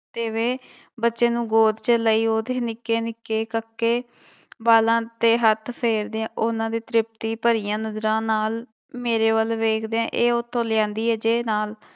ਤਿਵੇਂ ਬੱਚੇ ਨੂੰ ਗੋਦ ਚ ਲਈ ਉਹਦੇ ਨਿੱਕੇ ਨਿੱਕੇ ਕੱਕੇ ਵਾਲਾਂ ਤੇ ਹੱਥ ਫੇਰਦਿਆਂ ਉਹਨਾਂ ਦੇ ਤ੍ਰਿਪਤੀ ਭਰੀਆਂ ਨਜ਼ਰਾਂ ਨਾਲ ਮੇਰੇ ਵੱਲ ਵੇਖਦਿਆਂ ਇਹ ਉੱਥੋਂ ਲਿਆਂਦੀ ਹੈ ਜੇ ਨਾਲ,